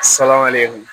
Salawa le